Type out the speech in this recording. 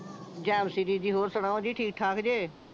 ਜਾਣਸੀ ਦੀਦੀ ਹੋਰ ਸੁਣਾਓ ਜੀ ਠੀਕ ਠਾਕ ਜੇ